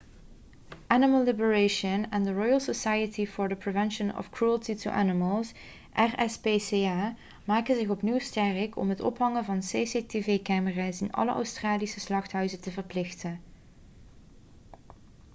animal liberation en de royal society for the prevention of cruelty to animals rspca maken zich opnieuw sterk om het ophangen van cctv-camera's in alle australische slachthuizen te verplichten